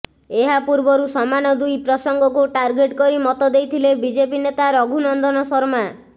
ଏହା ପୂର୍ବରୁ ସମାନ ଦୁଇ ପ୍ରସଙ୍ଗକୁ ଟାର୍ଗେଟ୍ କରି ମତ ଦେଇଥିଲେ ବିଜେପି ନେତା ରଘୁ ନନ୍ଦନ ଶର୍ମା